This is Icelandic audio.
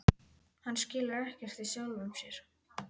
Hann skilur ekkert í sjálfum sér.